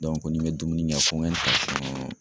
ko ni bɛ dumuni kɛ ko me